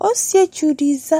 Ɔsietsu de za